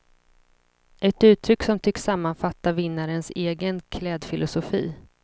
Ett uttryck som tycks sammanfatta vinnarens egen klädfilosofi.